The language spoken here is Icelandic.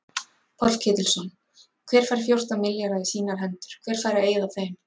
Páll Ketilsson: Hver fær fjórtán milljarða í sínar hendur, hver fær að eyða þeim?